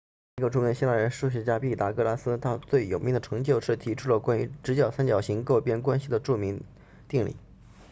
另一个著名的希腊人是数学家毕达哥拉斯他最有名的成就是提出了关于直角三角形各边关系的著名定理